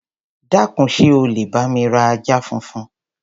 Dákun, ṣé o lè bá mi ra ajá funfun?